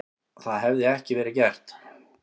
Það hefði ekki verið gert.